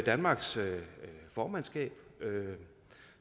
danmarks formandskab